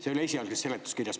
See oli esialgses seletuskirjas.